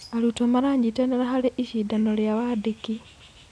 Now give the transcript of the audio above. Arutwo maranyitanĩra harĩ icindano rĩa wandĩki.